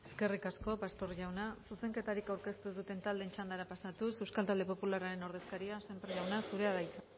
eskerrik asko pastor jauna zuzenketarik aurkeztu ez duten taldeen txandara pasatuz euskal talde popularraren ordezkaria sémper jauna zurea da hitza